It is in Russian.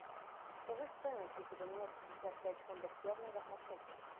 подскажи стоимость если поменять пятьдесят пять фунтов стерлингов на шекели